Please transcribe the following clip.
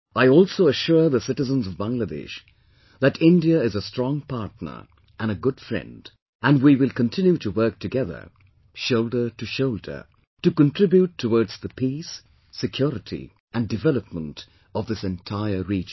I also assure the citizens of Bangladesh that India is a strong partner, and a good friend, and we will continue to work together shoulder to shoulder to contribute towards the peace, security and development of this entire region